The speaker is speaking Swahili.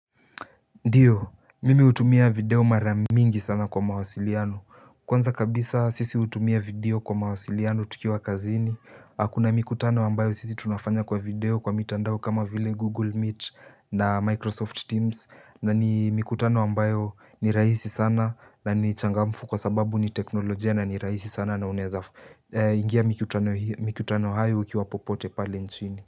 Ndiyo, mimi hutumia video maramingi sana kwa mawasiliano, kwanza kabisa sisi hutumia video kwa mawasiliano tukiwa kazini, kuna mikutano ambayo sisi tunafanya kwa video kwa mitandao kama vile Google Meet na Microsoft Teams, na ni mikutano ambayo ni raisi sana na ni changamfu kwa sababu ni teknolojia na ni raisi sana na unaeza ingia mikutano hayo ukiwa popote pale nchini.